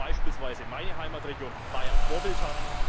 Dafür ist beispielsweise meine Heimatregion Bayern vorbildlich.